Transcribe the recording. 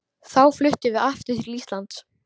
Þá fluttum við aftur til Íslands.